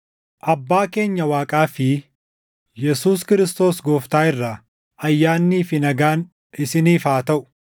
Abbaa keenya Waaqaa fi Yesuus Kiristoos Gooftaa irraa ayyaannii fi nagaan isiniif haa taʼu;